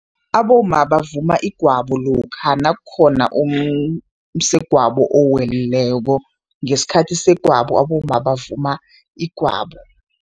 Abomma bavuma igwabo lokha nakukhona umsegwabo owelileko, ngesikhathi segwabo, abomma bavuma igwabo.